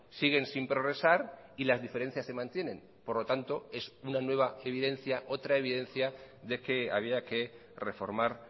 siguen sin progresar y las diferencias se mantienen por lo tanto es una nueva evidencia otra evidencia de que había que reformar